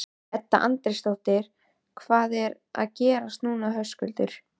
Edda Andrésdóttir: Hvað er að gerast núna Höskuldur?